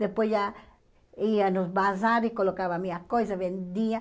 Depois já ia no bazar e colocava as minhas coisas, vendia.